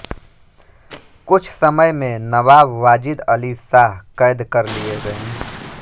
कुछ समय में नवाब वाजिद अली शाह कैद कर लिए गए